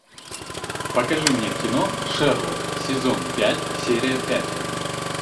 покажи мне кино шерлок сезон пять серия пять